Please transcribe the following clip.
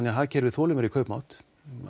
að hagkerfið þolir meiri kaupmátt